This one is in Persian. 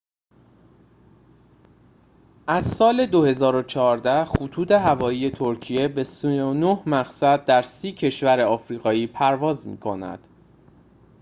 از سال ۲۰۱۴ خطوط‌هوایی ترکیه به ۳۹ مقصد در ۳۰ کشور آفریقایی پرواز می‌کنند